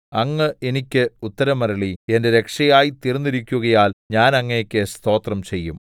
അങ്ങ് എനിക്ക് ഉത്തരമരുളി എന്റെ രക്ഷയായി തീർന്നിരിക്കുകയാൽ ഞാൻ അങ്ങേക്കു സ്തോത്രം ചെയ്യും